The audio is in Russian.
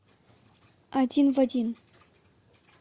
один в один